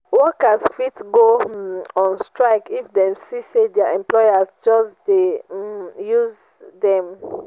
workers fit go um on strike if dem see say their employers just de um um use dem